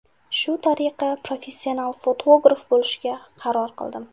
Shu tariqa, professional fotograf bo‘lishga qaror qildim.